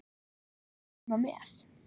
Ég fékk að koma með.